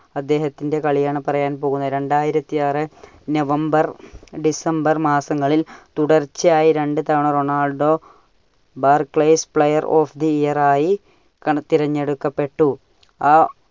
അദ്ദേഹത്തിന്റെ കളിയാണ് പറയാൻ പോകുന്നത്. രണ്ടായിരത്തി ആറ് November December മാസങ്ങളിൽ തുടർച്ചയായി രണ്ടു തവണ Ronaldo player of the year ആയി തിരഞ്ഞെടുക്കപ്പെട്ടു. അഹ്